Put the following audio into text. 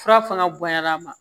Fura fana bonyala ma